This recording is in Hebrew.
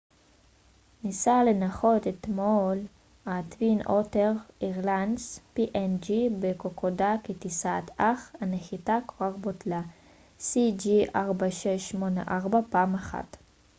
ה-twin otter ניסה לנחות אתמול בקוקודה כטיסת png אירליינס cg4684 אך הנחיתה כבר בוטלה פעם אחת